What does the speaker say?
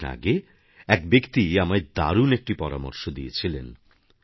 কিছুদিন আগে এক ব্যক্তি আমায় দারুণ একটি পরামর্শ দিয়েছিলেন